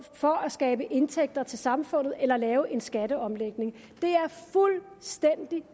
for at skabe indtægter til samfundet eller lave en skatteomlægning